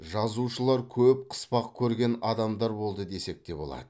жазушылар көп қыспақ көрген адамдар болды десек те болады